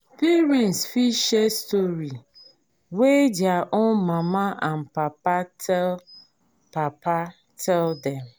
parents fit share story wey their own mama and papa tell papa tell dem